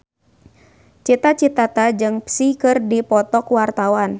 Cita Citata jeung Psy keur dipoto ku wartawan